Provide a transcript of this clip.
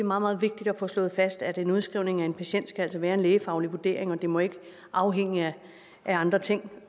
meget vigtigt at få slået fast at udskrivning af en patient skal være en lægefaglig vurdering og det må ikke afhænge af andre ting